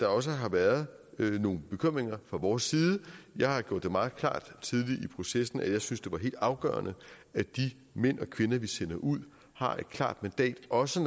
også har været nogle bekymringer fra vores side jeg har gjort det meget klart tidligt i processen at jeg synes det var helt afgørende at de mænd og kvinder vi sender ud har et klart mandat også